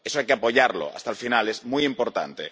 Eso hay que apoyarlo hasta el final, es muy importante.